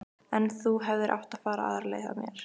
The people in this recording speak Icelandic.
En þú hefðir átt að fara aðra leið að mér.